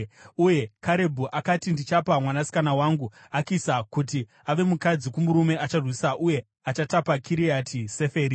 Uye Karebhu akati, “Ndichapa mwanasikana wangu Akisa kuti ave mukadzi kumurume acharwisa uye achatapa Kiriati Seferi.”